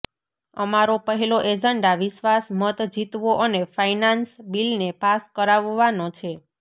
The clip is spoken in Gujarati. અમારો પહેલો એજન્ડા વિશ્વાસ મત જીતવો અને ફાઇનાન્સ બિલને પાસ કરાવવાનો છે